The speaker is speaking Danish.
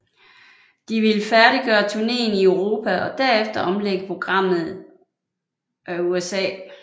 De ville færdiggøre turneen i Europa og derefter omlægge programmet of USA